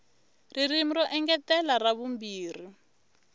ririmi ro engetela ra vumbirhi